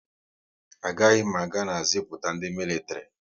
A gaghị m aga na ziputa ndị militiri